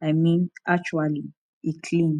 i mean actually e clean